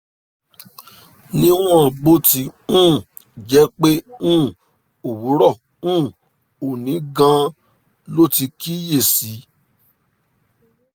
níwọ̀n bó ti um jẹ́ pé um òwúrọ̀ um òní gan-an lo ti kíyè sí i